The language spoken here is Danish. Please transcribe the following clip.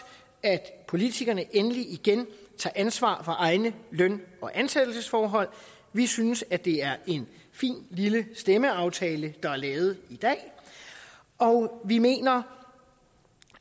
at politikerne endelig igen tager ansvar for egne løn og ansættelsesforhold vi synes at det er en fin lille stemmeaftale der er lavet i dag og vi mener